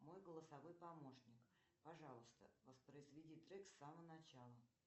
мой голосовой помощник пожалуйста воспроизведи трек с самого начала